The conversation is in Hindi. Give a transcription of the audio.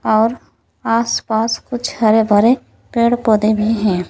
और आसपास कुछ हरे भरे पेड़ पौधे भीं है।